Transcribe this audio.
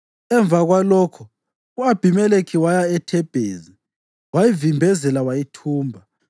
Emva kwalokho u-Abhimelekhi waya eThebhezi wayivimbezela wayithumba.